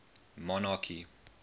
monarchy